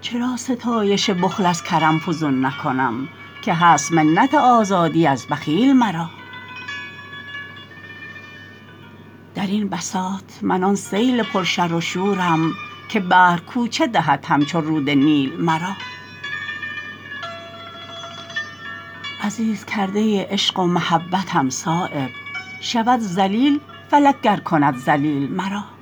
چرا ستایش بخل از کرم فزون نکنم که هست منت آزادی از بخیل مرا درین بساط من آن سیل پر شر و شورم که بحر کوچه دهد همچو رود نیل مرا عزیز کرده عشق و محبتم صایب شود ذلیل فلک گر کند ذلیل مرا